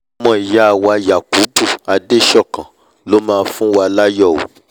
ọmọ ìyá wa yakubu adesokan ló mà fúnwa láyọ̀ o